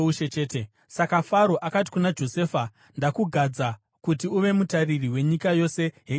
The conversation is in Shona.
Saka Faro akati kuna Josefa, “Ndakugadza kuti uve mutariri wenyika yose yeIjipiti.”